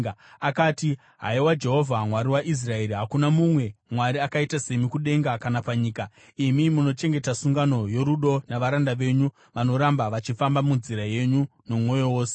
Akati: “Haiwa Jehovha, Mwari waIsraeri, hakuna mumwe Mwari akaita semi kudenga kana panyika. Imi munochengeta sungano yorudo navaranda venyu vanoramba vachifamba munzira yenyu nomwoyo wose.